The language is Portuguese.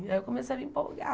Aí eu comecei a me empolgar.